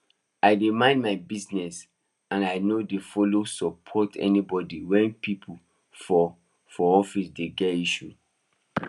i dey mind my business and i no dey follow support anybody when people for for office dey get issues